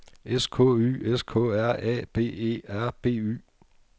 S K Y S K R A B E R B Y